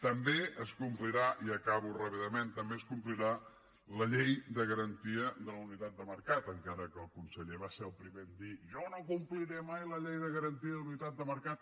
també es complirà i acabo ràpidament la llei de garantia de la unitat de mercat encara que el conseller va ser el primer a dir jo no compliré mai la llei de garantia de la unitat de mercat